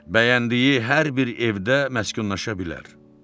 Bəyəndiyi hər bir evdə məskunlaşa bilər.